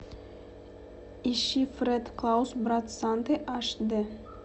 ищи фред клаус брат санты аш ди